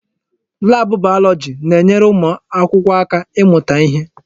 Laabụ bayọlọji na-enyere ụmụ akwụkwọ aka ịmụta ihe.